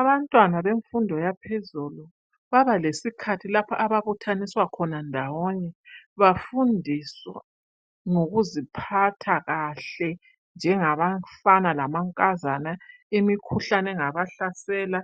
Abantwana bemfundo yaphezulu babalesikhathi lapha ababuthaniswa khona ndawonye bafundiswe ngokuziphatha kahle njengabafana lamankazana imikhuhlane engabahlasela,